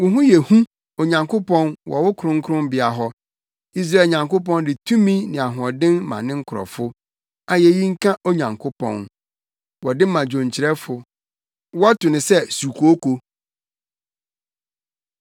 Wo ho yɛ hu, Onyankopɔn, wɔ wo kronkronbea hɔ; Israel Nyankopɔn de tumi ne ahoɔden ma ne nkurɔfo. Ayeyi nka Onyankopɔn! Wɔde ma dwonkyerɛfo. Wɔto no sɛ “Sukooko.”